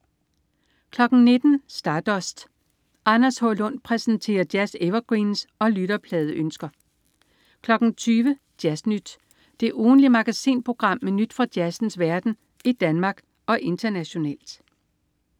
19.00 Stardust. Anders H. Lund præsenterer jazz-evergreens og lytterpladeønsker 20.00 Jazz Nyt. Det ugentlige magasinprogram med nyt fra jazzens verden i Danmark og internationalt